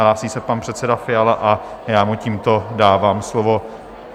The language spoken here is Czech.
Hlásí se pan předseda Fiala a já mu tímto dávám slovo.